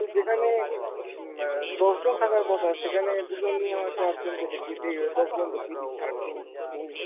তো যেখানে উম অ্যাঁ দশজন থাকার কথা সেখানে দু'জন নয়তো একজনকে দেখিয়ে দিয়ে দশজন দেখিয়ে দিচ্ছে, আটজন ভুল।